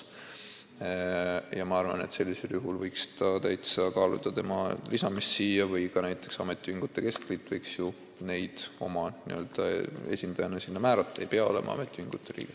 Ma arvan, et sellisel juhul võiks täitsa kaaluda tema lisamist siia nimekirja või ka näiteks ametiühingute keskliit võiks sealt kedagi oma n-ö esindajaks määrata, see esindaja ei pea olema ametiühingu liige.